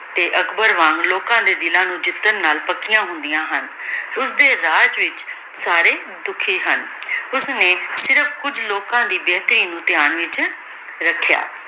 ਤੇ ਅਕਬਰ ਵਾਂਗ ਲੋਕਾਂ ਦੇ ਦਿਲਾਂ ਨੂ ਜਿਤਾਨ ਨਾਲ ਪਾਕਿਯਾਂ ਹੁੰਦਿਯਾਂ ਹਨ ਓਸਦੀ ਰਾਜ ਵਿਚ ਸਾਰੇ ਦੁਖੀ ਹਨ ਓਸ੍ਨੀ ਸਿਰਫ ਕੁਜ ਲੋਕਾਂ ਦੀ ਬੇਹਤਰੀ ਨੂ ਦੇਹ੍ਯਾਂ ਵਿਚ ਰੇਖ੍ਯਾ